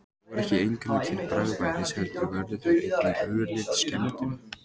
Þeir voru ekki eingöngu til bragðbætis heldur vörðu þeir einnig ölið skemmdum.